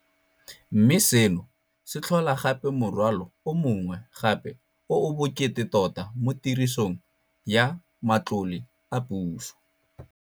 Mme seno se tlhola gape morwalo o mongwe gape o o bokete tota mo tirisong ya matlole a puso.